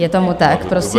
Je tomu tak, prosím.